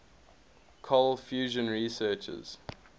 cold fusion researchers